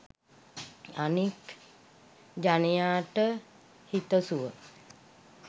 අනෙක් ජනයාට හිතසුව